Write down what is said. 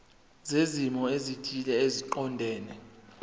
zezimo ezithile eziqondene